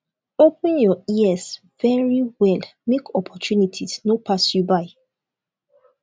open your ears very well make opportunities no pass you by